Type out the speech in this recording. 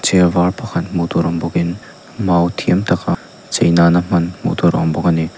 chêr vâr pakhat hmuh tûr awm bawkin mau thiam taka chei nâna hman hmuh tûr a awm bawk a ni.